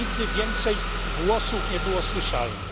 Nigdy więcej głosów nie było słyszalnych.